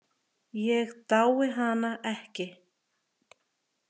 Ég dái hana ekki.